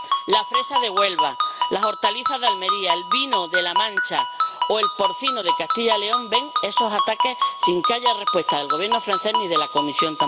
La fresa de Huelva, las hortalizas de Almería, el vino de la Mancha o el porcino de Castilla y León ven esos ataques sin que haya respuesta del Gobierno francés ni de la Comisión.